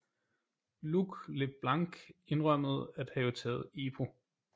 Luc Leblanc indrømmede at have taget EPO